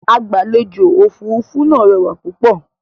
Agbàlèjò-òfurufú náà rẹwà púpọ̀.